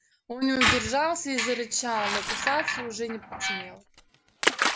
он не удержался и зарычал но кусаться уже не посмел